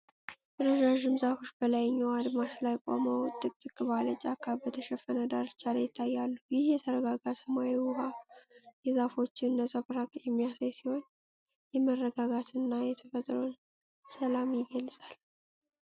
ረዣዥም ዛፎች በላይኛው አድማስ ላይ ቆመው፣ ጥቅጥቅ ባለ ጫካ በተሸፈነ ዳርቻ ላይ ይታያሉ። ይህ የተረጋጋ ሰማያዊ ውሃ የዛፎቹን ነጸብራቅ የሚያሳይ ሲሆን የመረጋጋትንና የተፈጥሮን ሰላም ይገልጻል።